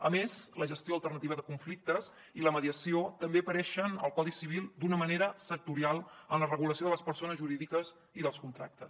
a més la gestió alternativa de conflictes i la mediació també apareixen al codi civil d’una manera sectorial en la regulació de les persones jurídiques i dels contractes